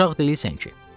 Uşaq deyilsən ki?